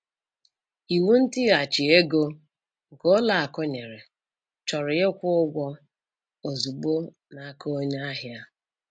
Iwu ntighachi ego, nke ụlọ akụ nyere, chọrọ ịkwụ ụgwọ ozugbo n'aka onye ahịa.